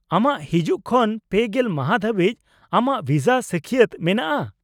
-ᱟᱢᱟᱜ ᱦᱤᱡᱩᱜ ᱠᱷᱚᱱ ᱯᱮᱜᱮᱞ ᱢᱟᱦᱟᱸ ᱫᱷᱟᱹᱵᱤᱡ ᱟᱢᱟᱜ ᱵᱷᱤᱥᱟ ᱥᱟᱹᱠᱷᱭᱟᱹᱛ ᱢᱮᱱᱟᱜᱼᱟ ᱾